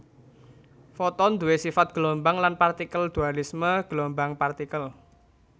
Foton duwé sifat gelombang lan partikel dualisme gelombang partikel